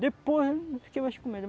Depois não fiquei mais com medo.